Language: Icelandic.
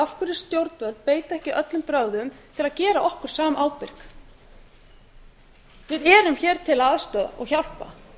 af hverju stjórnvöld beita ekki öllum brögðum til að gera okkur samábyrg við erum hér til að aðstoða og hjálpa